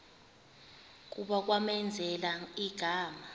kuba kwamenzela igama